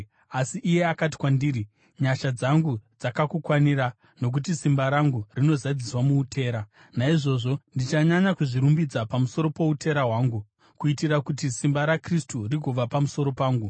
Asi iye akati kwandiri, “Nyasha dzangu dzakakukwanira, nokuti simba rangu rinozadziswa muutera.” Naizvozvo ndichanyanya kuzvirumbidza pamusoro poutera hwangu, kuitira kuti simba raKristu rigova pamusoro pangu.